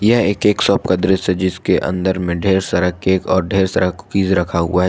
यह एक cake shop का दृश्य है जिसके अंदर में ढेर सारा केक और ढेर सारा कुकीज रखा हुआ है।